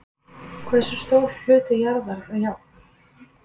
Hversu stór hluti jarðar er járn?